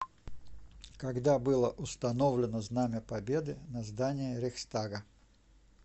когда было установлено знамя победы на здании рейхстага